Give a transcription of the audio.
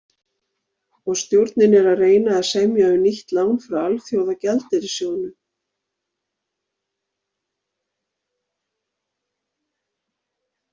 Og stjórnin er að reyna að semja um nýtt lán frá Alþjóða gjaldeyrissjóðurinn.